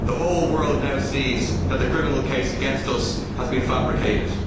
The whole world now sees that the criminal case against us has been fabricated.'